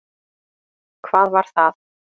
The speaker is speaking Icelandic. Hvað var það?